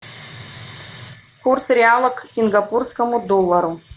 курс реала к сингапурскому доллару